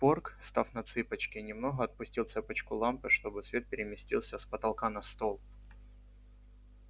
порк став на цыпочки немного отпустил цепочку лампы чтобы свет переместился с потолка на стол